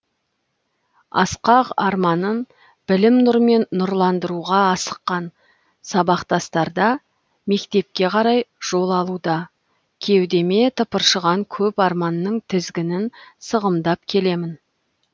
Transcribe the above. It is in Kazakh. асқақ арманын білім нұрмен нұрландыруға асыққан сабақтастарда мектепке қарай жол алуда кеудеме тыпыршыған көп арманның тізгінін сығымдап келемін